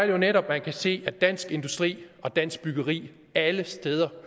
jo netop man kan se at fra dansk industri og dansk byggeri alle steder